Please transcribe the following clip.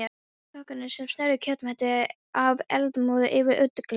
Kokkarnir sem sneru kjötmeti af eldmóði yfir útigrillinu.